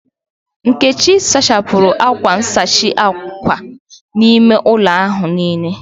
Nkechi sachapụru akwa nsachi ákwà ime ụlọ ahu niile